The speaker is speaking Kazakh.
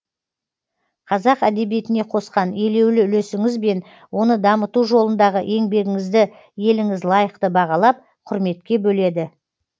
қазақ әдебиетіне қосқан елеулі үлесіңіз бен оны дамыту жолындағы еңбегіңізді еліңіз лайықты бағалап құрметке бөледі